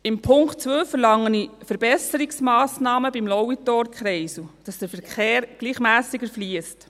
Im Punkt 2 verlange ich Verbesserungsmassnahmen beim Lauitorkreisel, damit der Verkehr gleichmässiger fliesst.